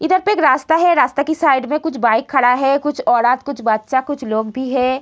इधर पे एक रास्ता है रास्ता के साइड में कुछ बाइक खड़ा है कुछ औरत कुछ बच्चा कुछ लोग भी है।